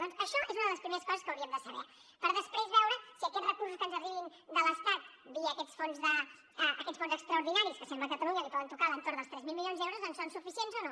doncs això és una de les primeres coses que hauríem de saber per després veure si aquests recursos que ens arribin de l’estat via aquests fons extraordinaris que sembla que a catalunya li poden tocar a l’entorn dels tres mil milions d’euros si són suficients o no